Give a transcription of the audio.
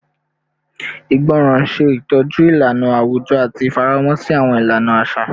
Ìgbọràn ṣetọju ilana awujọ ati ifaramọ si awọn ilana aṣa